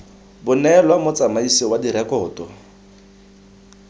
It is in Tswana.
bo neelwa motsamaisi wa direkoto